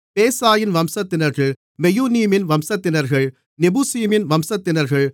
பேசாயின் வம்சத்தினர்கள் மெயுநீமின் வம்சத்தினர்கள் நெபுசீமின் வம்சத்தினர்கள்